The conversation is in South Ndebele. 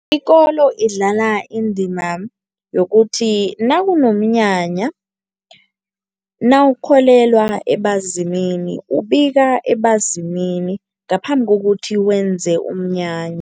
Ikolo idlala indima yokuthi nakunomnyanya, nawukholelwa ebazimini ubika ebazimini ngaphambi kokuthi wenze umnyanya.